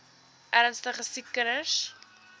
ernstige siek kinders